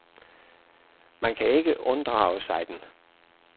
Man kan ikke unddrage sig den.